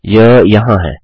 यह यहाँ है